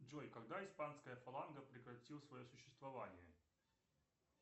джой когда испанская фаланга прекратила свое существование